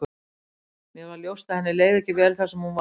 Mér varð ljóst að henni leið ekki vel þar sem hún var.